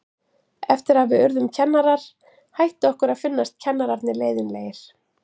Eftir að við urðum kennarar hætti okkur að finnast kennararnir leiðinlegir.